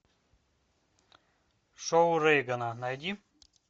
шоу рейгана найди